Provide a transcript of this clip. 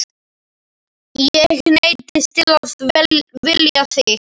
Ég neyddist til að vilja þig.